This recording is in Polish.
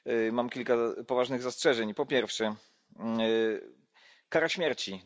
Mam kilka poważnych zastrzeżeń po pierwsze kara śmierci.